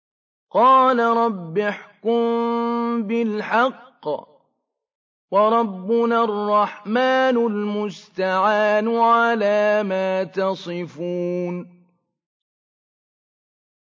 قَالَ رَبِّ احْكُم بِالْحَقِّ ۗ وَرَبُّنَا الرَّحْمَٰنُ الْمُسْتَعَانُ عَلَىٰ مَا تَصِفُونَ